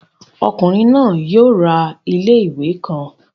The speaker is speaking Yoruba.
Ọkunrin naa yoo ra ile-iwe kan